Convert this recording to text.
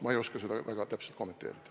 Ma ei oska seda väga täpselt kommenteerida.